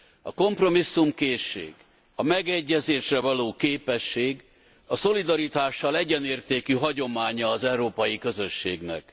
A kompromisszumkészség, a megegyezésre való képesség, a szolidaritással egyenértékű hagyománya az európai közösségnek.